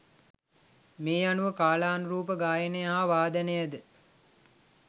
මේ අනුව කාලානුරූප ගායනය හා වාදනය ද